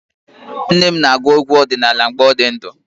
Nne m na-agụ egwu ọdinala mgbe ọ dị ndụ.